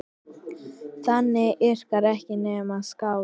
Þannig yrkja ekki nema skáld!